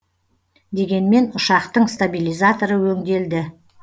дегенмен ұшақтың стабилизаторы өңделді